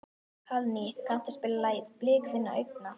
Hallný, kanntu að spila lagið „Blik þinna augna“?